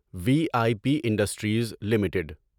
we I P industries limited